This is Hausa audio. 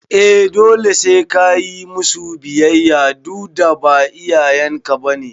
eh dole sai kayi musu biyayya dudda ba iyayen ka bane